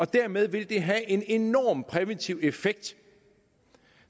dermed vil det have en enorm præventiv effekt